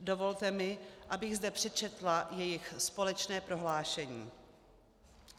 Dovolte mi, abych zde přečetla jejich společné prohlášení.